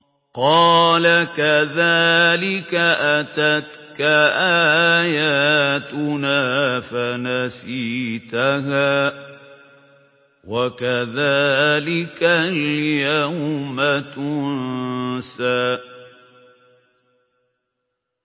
قَالَ كَذَٰلِكَ أَتَتْكَ آيَاتُنَا فَنَسِيتَهَا ۖ وَكَذَٰلِكَ الْيَوْمَ تُنسَىٰ